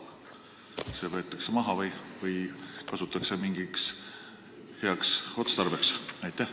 Kas see võetakse maha või kasutatakse mingiks heaks otstarbeks?